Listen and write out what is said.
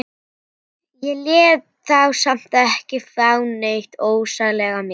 Ég lét þá samt ekki fá neitt ofsalega mikið.